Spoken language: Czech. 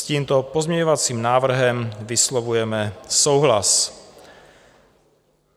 S tímto pozměňovacím návrhem vyslovujeme souhlas.